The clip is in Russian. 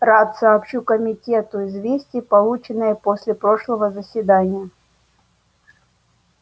рад сообщу комитету известие полученное после прошлого заседания